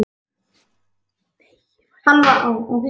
Hann var þar oft á kvöldin að dunda sér.